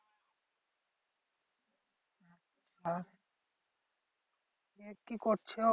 কি করছো?